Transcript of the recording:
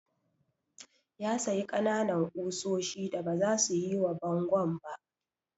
Ya sayi ƙananan ƙusoshi da baza su yi wa bangon ba.